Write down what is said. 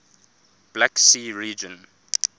black sea region